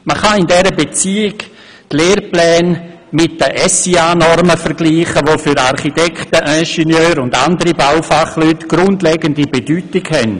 Man kann in dieser Beziehung die Lehrpläne mit den SIA-Normen vergleichen, welche für Architekten, Ingenieure und andere Baufachleute grundlegende Bedeutung haben.